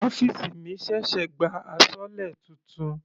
Ọ́fìsì mi ṣẹ̀ṣẹ̀ gba asọlé titun.